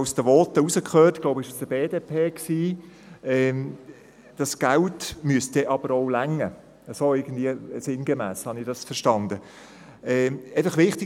Aus den Voten habe ich sinngemäss herausgehört, dass das Geld dann aber auch ausreichen müsse.